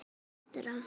Þetta var betra.